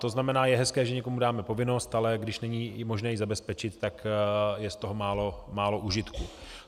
To znamená, je hezké, že někomu dáme povinnost, ale když není možné ji zabezpečit, tak je z toho málo užitku.